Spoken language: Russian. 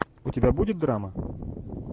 у тебя будет драма